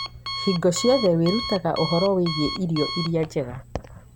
Hingo ciothe wĩrutaga ũhoro wĩgiĩ irio iria njega.